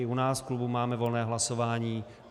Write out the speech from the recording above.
I u nás v klubu máme volné hlasování.